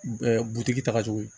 butigi ta ka jugu